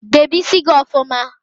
Debe ísí gị ọfụma!